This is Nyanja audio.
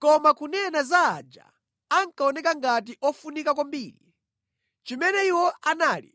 Koma kunena za aja ankaoneka ngati ofunika kwambiri, chimene iwo anali